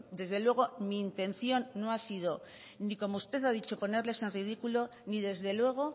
desde luego mi intención no ha sido ni como usted ha dicho ponerles en ridículo ni desde luego